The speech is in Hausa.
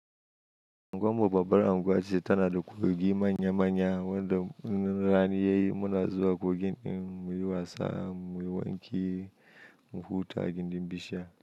Angwammu babbar angwace ta na da kogi manya manya wanda inrani yayi muna zuwa kogi muyi wasa muyi wanki muhuta a gindin bishiya.